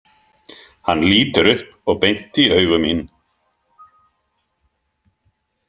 Hann lítur upp og beint í augu mín.